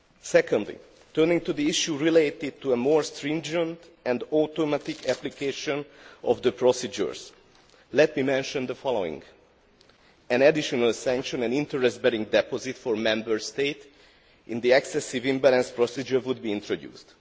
Secondly, turning to the issue relating to a more stringent and automatic application of the procedures, let me mention the following an additional sanction, an interest bearing deposit for Member States in the excessive imbalance procedure, would be introduced.